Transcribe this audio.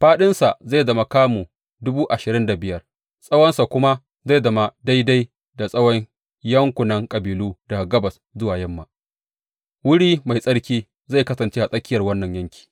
Faɗinsa zai zama kamu dubu ashirin da biyar, tsawonsa kuma zai zama daidai da tsawon yankunan kabilu daga gabas zuwa yamma; wuri mai tsarki zai kasance a tsakiyar wannan yanki.